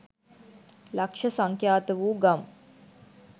ලක්‍ෂ සංඛ්‍යාතවූ ගම්